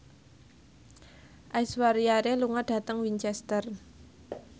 Aishwarya Rai lunga dhateng Winchester